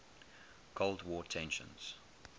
cold war tensions